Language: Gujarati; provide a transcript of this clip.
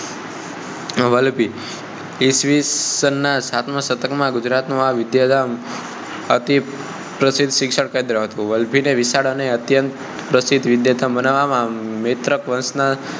વલભી ઈસ્વીસન ના સાતમા સતર્ક માં ગુજરાત નું આ વિદ્યાધામ અતિ પ્રસિદ્ધ શિક્ષણ કેન્દ્ર હતું વલભી ને વિશાળ અને અત્યંત પ્રસિદ્ધ વિદ્યાધામ બનાવવા માં નેત્રક વંશનો